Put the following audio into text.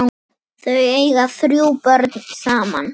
Þau eiga þrjú börn saman.